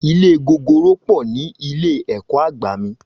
Ilé gogoro po ni ilé ẹ̀kọ́ àgbà mi